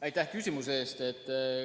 Aitäh küsimuse eest!